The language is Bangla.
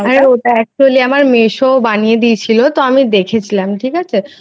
আর ওটা actually আমার মেসো বানিয়ে দিয়েছিল তো আমি দেখেছিলাম ঠিক আছে।